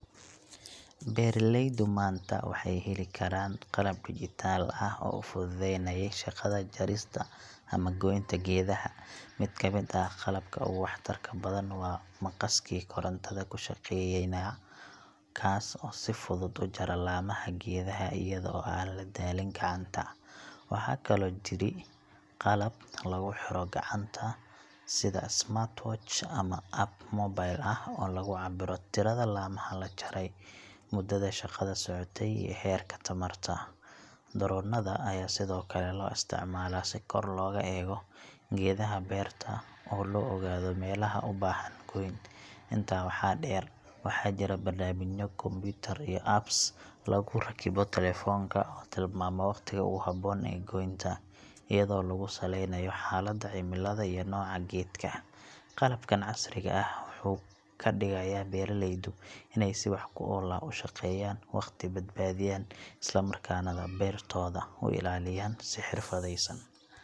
Beeraleydu maanta waxay heli karaan qalab dijitaal ah oo fududeynaya shaqada jarista ama goynta geedaha. Mid ka mid ah qalabka ugu waxtarka badan waa maqaskii korontada ku shaqeeya , kaas oo si fudud u jara laamaha geedaha iyada oo aan la daalin gacanta. Waxaa kaloo jira qalab lagu xiro gacanta sida smartwatch ama app mobile ah oo lagu cabbiro tirada laamaha la jaray, muddada shaqada socotay, iyo heerka tamarta. Dronnada ayaa sidoo kale loo isticmaalaa si kor looga eego geedaha beerta oo loo ogaado meelaha u baahan goyn. Intaa waxaa dheer, waxaa jira barnaamijyo kombiyuutar iyo apps lagu rakibo taleefanka oo tilmaama waqtiga ugu habboon ee goynta, iyadoo lagu saleynayo xaaladda cimilada iyo nooca geedka. Qalabkan casriga ah wuxuu ka dhigayaa beeralaydu inay si wax-ku-ool ah u shaqeeyaan, waqti badbaadiyaan, isla markaana beertooda u ilaaliyaan si xirfadeysan.